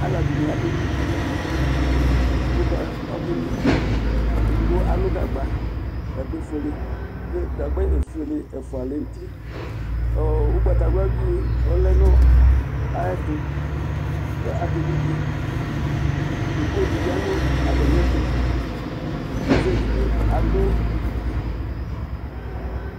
Alɛdini abé nui vi édigbo ké nui vié édigbo alu gagba gagba foélé ku gagba ofoélé ɛfoa lɛ nu uti ɔ ugbata wladi ɔlɛ nu ayɛtu ka aké nui vié koko bi ya nu ata miɛtu ɔsi di bi adu